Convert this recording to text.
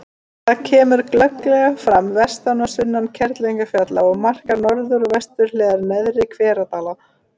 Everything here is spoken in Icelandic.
Það kemur glögglega fram vestan og sunnan Kerlingarfjalla og markar norður- og vesturhliðar Neðri-Hveradala.